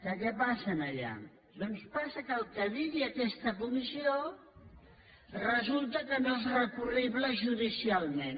què passa allà doncs passa que el que digui aquesta comissió resulta que no és recurrible judicialment